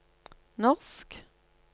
norsk